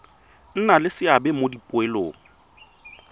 nna le seabe mo dipoelong